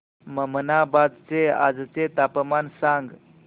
ममनाबाद चे आजचे तापमान सांग